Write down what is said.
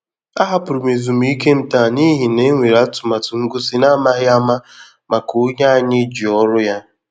A hapụrụ m ezumike m taa n’ihi na enwere atụmatụ ngosi n’amaghị ama maka onye ànyị ji ọrụ́ ya